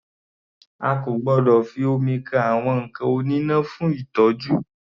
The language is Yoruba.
A kò gbọdọ̀ fi omi kan àwọn nǹkan oníná fún ìtọ́jú.